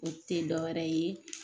O te dɔ wɛrɛ ye